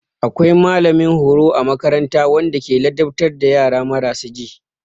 Akwai mallamin horo a makaranta wanda ke ladabtar da yara marasa ji.